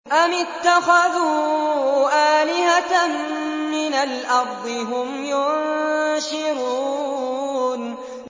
أَمِ اتَّخَذُوا آلِهَةً مِّنَ الْأَرْضِ هُمْ يُنشِرُونَ